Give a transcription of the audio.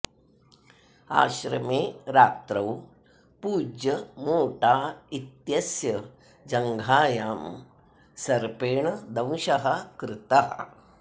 आश्रमे रात्रौ पूज्य मोटा इत्यस्य जङ्घायां सर्पेण दंशः कृतः